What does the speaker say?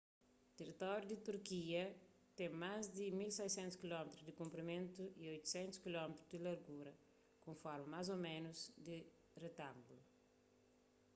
teritóriu di turkia ten más di 1.600 km di konprimentu y 800 km di largura ku un forma más ô ménus di retángulu